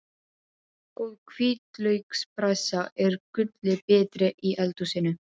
Góð hvítlaukspressa er gulli betri í eldhúsinu.